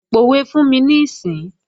Pòwe fún mi níìsín!